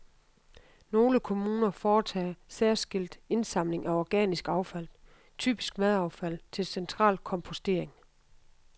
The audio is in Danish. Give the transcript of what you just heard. Nogle kommuner foretager særskilt indsamling af organisk affald, typisk madaffald, til central kompostering.